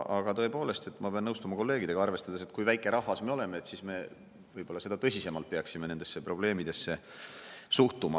Aga tõepoolest, ma pean nõustuma kolleegidega: arvestades, kui väike rahvas me oleme, peaksime me seda tõsisemalt nendesse probleemidesse suhtuma.